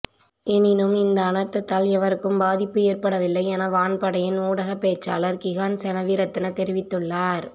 எனினும் இந்த அனர்த்தத்தால் எவருக்கும் பாதிப்பு ஏற்படவில்லை என வான் படையின் ஊடகப் பேச்சாளர் கிஹான் செனவிரத்ன தெரிவித்துள்ளார்